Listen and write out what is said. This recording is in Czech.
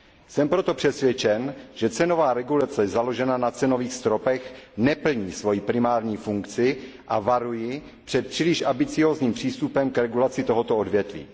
Jsem proto přesvědčen, že cenová regulace založená na cenových stropech neplní svoji primární funkci, a varuji před příliš ambiciózním přístupem k regulaci tohoto odvětví.